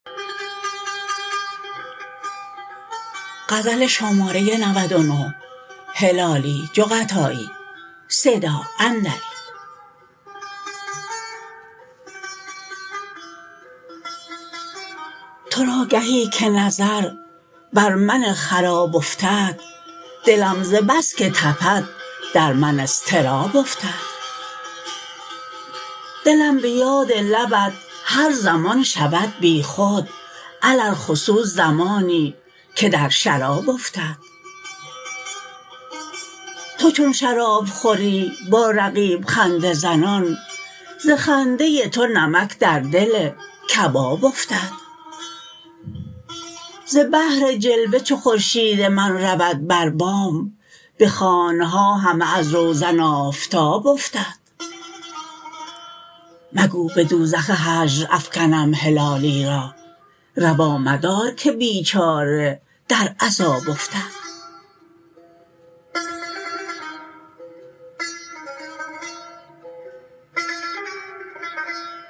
ترا گهی که نظر بر من خراب افتد دلم ز بسکه تپد در من اضطراب افتد دلم بیاد لبت هر زمان شود بیخود علی الخصوص زمانی که در شراب افتد تو چون شراب خوری با رقیب خنده زنان ز خنده تو نمک در دل کباب افتد ز بهر جلوه چو خورشید من رود بر بام بخانها همه از روزن آفتاب افتد مگو بدوزخ هجر افگنم هلالی را روا مدار که بیچاره در عذاب افتد